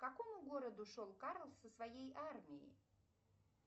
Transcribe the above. к какому городу шел карл со своей армией